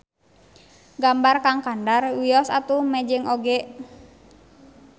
Gambar Kang Kandar wios atuh mejeng oge.